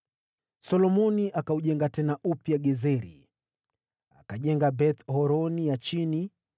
Solomoni akaujenga tena Gezeri.) Akajenga Beth-Horoni ya Chini,